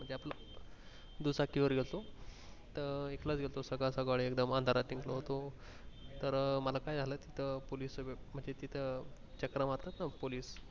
दुचाकी वर गेलतो त इथनं च गेलतो असं सकाळ सकाळी एकदम अंधारात निगलो होतो मला काय झाल तिथे police तिथं चकरा मारतात ना police